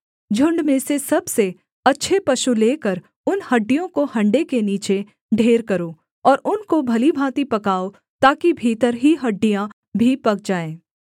झुण्ड में से सबसे अच्छे पशु लेकर उन हड्डियों को हण्डे के नीचे ढेर करो और उनको भली भाँति पकाओ ताकि भीतर ही हड्डियाँ भी पक जाएँ